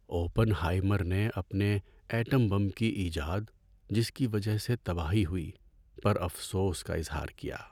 Open ہائیمر نے اپنے atom bomb کی ایجاد، جس کی وجہ سے تباہی ہوئی، پر افسوس کا اظہار کیا۔